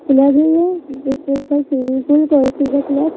Club है ये जिसमें लिखा है स्विमिंग पूल को-हे-फ़िजा क्लब ।